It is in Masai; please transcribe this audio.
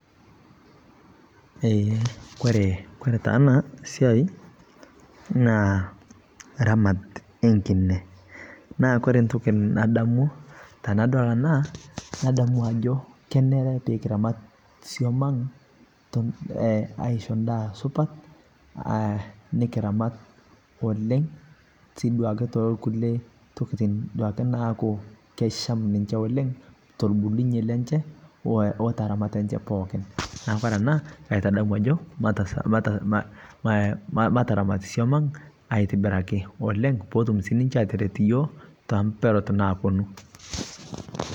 kore taa ana siai naa ramat ee nkine naa kore ntoki nadamu tanadol anaa nadamu ajo kenere pikiramat suomang aishoo ndaa supat nikiramat oleng sii duake tolkulie tokitin naaku kesham ninshe oleng tolbulunye lenshe o teramat enshe pookin naaku kore ana kaitadamu ajo mataramat suom ang aitibiraki oleng peetum sii ninshe ateret yooh te mperot naponuu